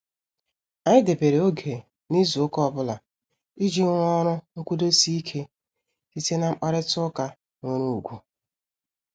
Anyị debere oge n'izu ụka ọbụla, iji rụọ ọrụ nkwudosi ike site na mkparita ụka nwere ugwu.